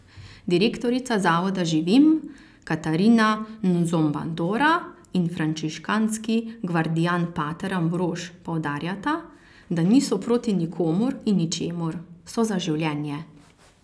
Direktorica zavoda Živim Katarina Nzobandora in frančiškanski gvardijan pater Ambrož poudarjata, da niso proti nikomur in ničemur, so za življenje.